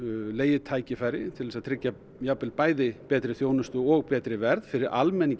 legið tækifæri til að tryggja bæði betri þjónustu og betra verð fyrir almenning í